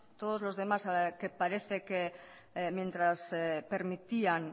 todos los demás que parece que mientras permitían